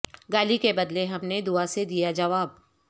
گالی کے بدلے ہم نے دعا سے دیا جواب